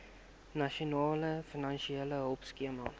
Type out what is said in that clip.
nasionale finansiële hulpskema